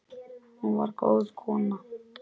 Hún var góð kona.